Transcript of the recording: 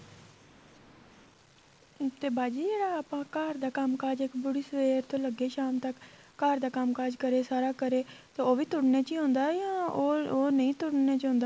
ਤੇ ਬਾਜੀ ਜਿਹੜਾ ਘਰ ਦਾ ਕੰਮਕਾਜ ਇੱਕ ਵਾਰੀ ਸਵੇਰ ਤੋ ਲੱਗੇ ਸ਼ਾਮ ਤੱਕ ਘਰ ਦਾ ਕੰਮਕਾਜ ਕਰੇ ਸਾਰਾ ਕਰੇ ਉਹ ਵੀ ਤੁਰਨੇ ਚ ਆਉਦਾ ਜਾਂ ਉਹ ਨਹੀਂ ਤੁਰਨੇ ਚ ਆਉਦਾ